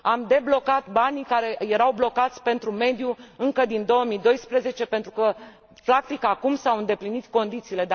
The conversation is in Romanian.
Am deblocat banii care erau blocați pentru mediu încă din 2012 pentru că, practic, acum s au îndeplinit condițiile.